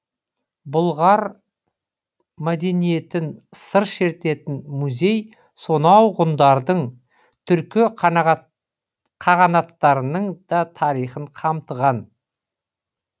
бұлғар мәдениетін сыр шертетін музей сонау ғұндардың түркі қағанаттарының да тарихын қамтыған